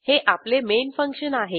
हे आपले main function आहे